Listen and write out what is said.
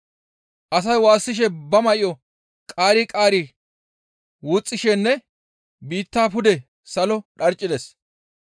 Asay waassishe ba may7o qaari qaari wuxxishenne biittaa pude salo dharccides.